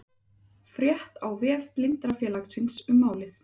Frétt á vef Blindrafélagsins um málið